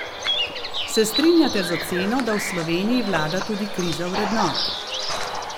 Se strinjate z oceno, da v Sloveniji vlada tudi kriza vrednot?